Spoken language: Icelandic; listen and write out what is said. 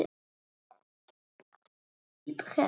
Vill ekki sjá svip hennar.